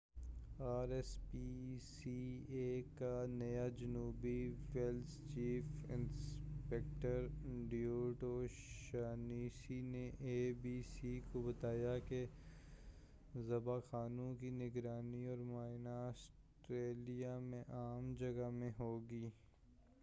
are S P C A کا نیا جنوبی Wales chief inspector David O'Shaughnessy نے اے بی سی کو بتانا کہ ذبح خانوں کی نگرانی اور معائنہ آسٹریلیا میں عام جگہ میں ہوگی